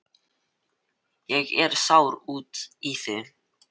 Ég er sár út í þig.